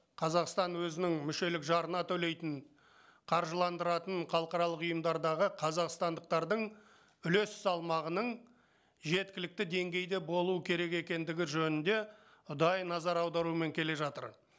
қазақстан өзінің мүшелік жарына төлейтін қаржыландыратын халықаралық ұйымдардағы қазақстандықтардың үлес салмағының жеткілікті деңгейде болуы керек екендігі жөнінде ұдайы назар аударумен келе жатыр